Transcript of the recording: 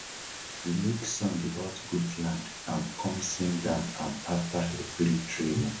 we make song about gud land and com sing am am afta everi training